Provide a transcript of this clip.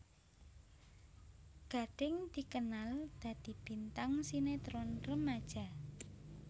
Gading dikenal dadi bintang sinetron remaja